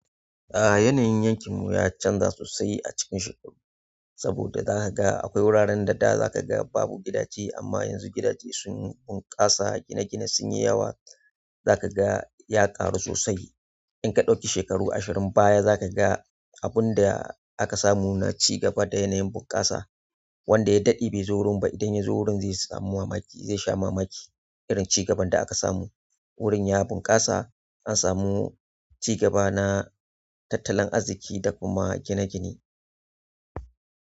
A yanayin yankin mu ya canza sosai a cikin shekaru, saboda zaka ga akwai wuraren da da za ka ga babu gidaje amma yanzu gidaje sun bunƙasa, gine-gine sun yi yawa. Zaka ga ya ƙaru sosai. In ka ɗauki shekaru ashirin baya za ka ga abun da aka samu na cigaba da yanayin bunƙasa, wanda ya daɗe bai zo wurin ba. Idan ya zo wurin zai samu mamaki, zai sha mamaki. Irin cigaban da aka samu wurin ya bunkasa an samu cigaba na tattalin arziki da kuma gine-gine.